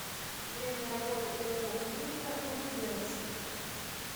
время работы ооо клиника на губернской